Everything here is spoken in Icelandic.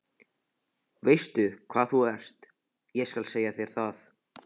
Veistu hvað þú ert, ég skal segja þér það.